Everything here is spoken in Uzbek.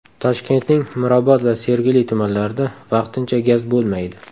Toshkentning Mirobod va Sergeli tumanlarida vaqtincha gaz bo‘lmaydi.